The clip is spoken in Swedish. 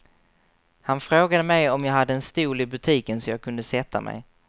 Han frågade mig om jag hade en stol i butiken så jag kunde sätta mig.